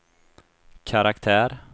karaktär